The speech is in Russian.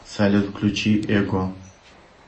салют включи эго